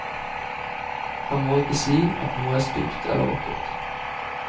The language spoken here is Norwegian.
Han må ikke si at noe er stygt eller vakkert.